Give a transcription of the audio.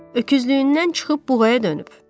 Öküzlüyündən çıxıb buğaya dönüb.